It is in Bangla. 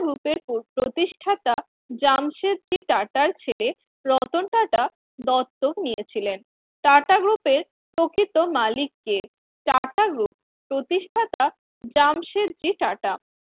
এর প্রতিষ্ঠাতা জামশেদ জি ছেলে রতন টাটা দত্তক নিয়েছিলেন টাটা group এর প্রকৃত মালিক কে টাটা group প্রতিষ্ঠাতা জামশেদজি টাটা